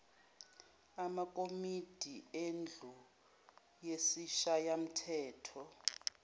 amakomidi endlu yesishayamthetho